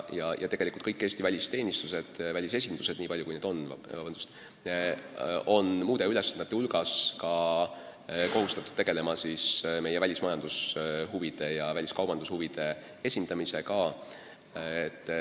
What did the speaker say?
Kõik Eesti välisteenistused, välisesindused, nii palju kui neid on, on muude ülesannete hulgas kohustatud tegelema ka meie väliskaubandushuvide ja üldse välismajandushuvide esindamisega.